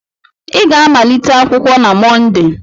ị ga-amalite akwụkwọ na Mọnde!